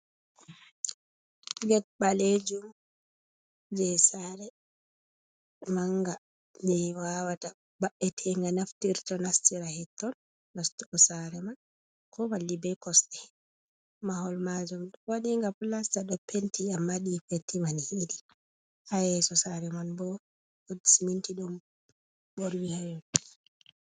Get ɓaleejum jei sare, manga, jei wawata mabbite, nga naftirto, nastira her ton, nastugo sare man, ko malli be kosɗe. Mahol maajum waɗinga plasta, ɗo penti amma ni penti man hiiɗi. Ha yeso sare man bo woɗ siminti don, ɓorwi ha yon...